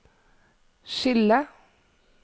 skille